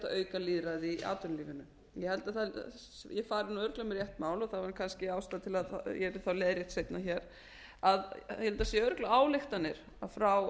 auka lýðræði í atvinnulífinu ég held að ég fari örugglega með rétt mál og það væri kannski ástæða til að ég verð þá leiðrétt seinna hér ég held að það séu örugglega ályktanir frá